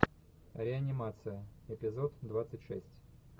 реанимация эпизод двадцать шесть